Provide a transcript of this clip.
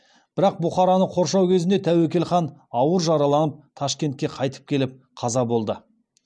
бірақ бұхараны қоршау кезінде тәуекел хан ауыр жараланып ташкентке қайтып келіп қаза болды